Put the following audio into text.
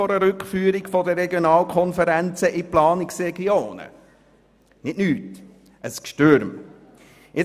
Eine Rückführung der Regionalkonferenzen in Planungsregionen würde nicht nichts ergeben, sondern ein «Gschtürm».